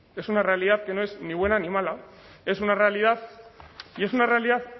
es una realidad que no es ni buena ni mala es una realidad y es una realidad